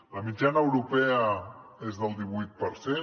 la mitjana europea és del divuit per cent